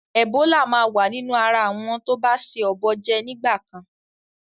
Ẹ̀bólà máa wa nínú ara àwọn tó ba se ọ̀bọ jẹ nígbà kan.